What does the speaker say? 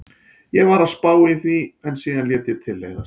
Ég var að spá í því en síðan lét ég til leiðast.